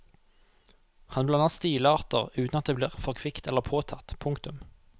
Han blander stilarter uten at det blir for kvikt eller påtatt. punktum